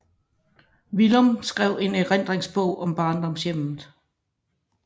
Villum skrev en erindringsbog om barndomshjemmet